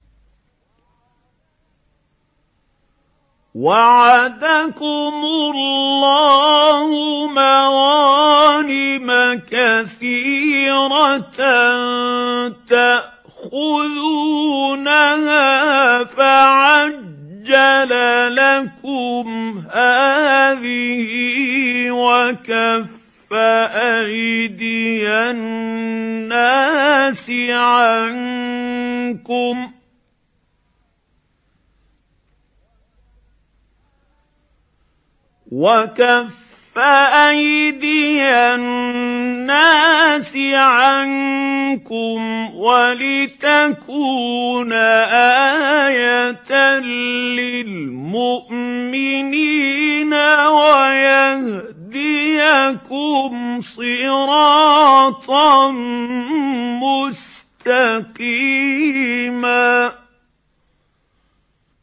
وَعَدَكُمُ اللَّهُ مَغَانِمَ كَثِيرَةً تَأْخُذُونَهَا فَعَجَّلَ لَكُمْ هَٰذِهِ وَكَفَّ أَيْدِيَ النَّاسِ عَنكُمْ وَلِتَكُونَ آيَةً لِّلْمُؤْمِنِينَ وَيَهْدِيَكُمْ صِرَاطًا مُّسْتَقِيمًا